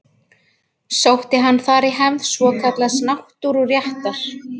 Sótti hann þar í hefð svokallaðs náttúruréttar.